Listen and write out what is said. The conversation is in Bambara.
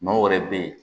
Maaw yɛrɛ bɛ yen